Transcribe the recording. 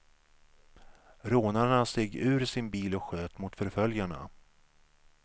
Rånarna steg ur sin bil och sköt mot förföljarna.